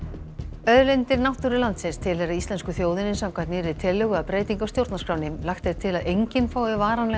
auðlindir náttúru landsins tilheyra íslensku þjóðinni samkvæmt nýjum tillögum að breytingum á stjórnarskránni lagt er til að enginn fái varanlegan